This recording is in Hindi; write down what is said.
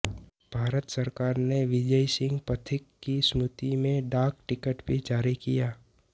भारत सरकार ने विजय सिंह पथिक की स्मृति में डाक टिकट भी जारी किया